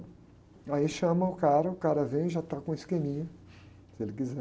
Aí chama o cara, o cara vem e já está com o esqueminha, se ele quiser.